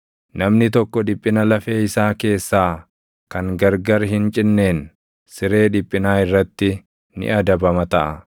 “Namni tokko dhiphina lafee isaa keessaa kan gargar hin cinneen, siree dhiphinaa irratti ni adabama taʼa;